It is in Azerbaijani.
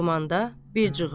Ormanda bir cığır.